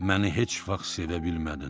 məni heç vaxt sevə bilmədin.